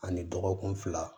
Ani dɔgɔkun fila